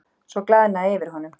Svo glaðnaði yfir honum.